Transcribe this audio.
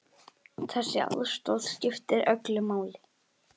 Þessi aðstoð skiptir öllu máli.